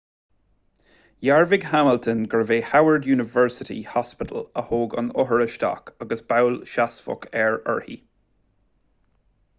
dhearbhaigh hamilton gurbh é howard university hospital a thóg an othar isteach agus bail sheasmhach air/uirthi